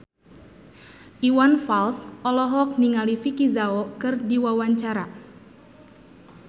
Iwan Fals olohok ningali Vicki Zao keur diwawancara